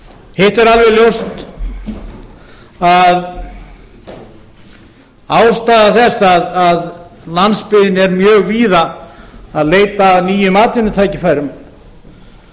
hitt er alveg ljóst að ástæða þess að landsbyggðin er mjög víða að leita að nýjum atvinnutækifærum